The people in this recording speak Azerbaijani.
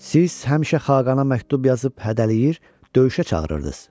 Siz həmişə xaqana məktub yazıb hədələyir, döyüşə çağırırdız.